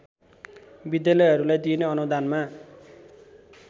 विद्यालयहरूलाई दिइने अनुदानमा